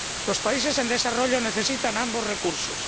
Los países en desarrollo necesitan ambos recursos.